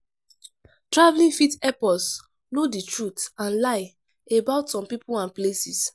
Travelling fit help us know the truth and lie about some people and places